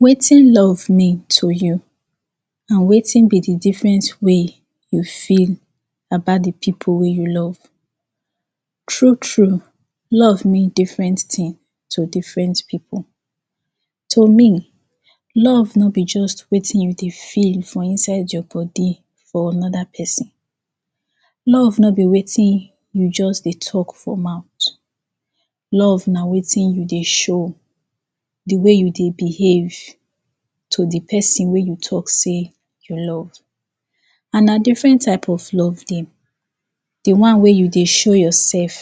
Wetin love mean to you? Na wetin be de different way you feel about de pipo wey you love? True, true! Love mean different tin to different pipo. To me, love no be just wetin you dey feel for inside your body for anoda pesin. Love no be wetin you just dey talk for mouth. Love na wetin you dey show. De way you dey behave to de pesin wey you talk sey you love. And na different type of love dey. De one wey you dey show yoursef.